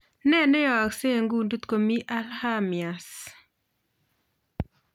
Nee che aeksee en kundit komii alzhemiers